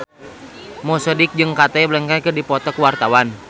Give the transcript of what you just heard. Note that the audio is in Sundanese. Mo Sidik jeung Cate Blanchett keur dipoto ku wartawan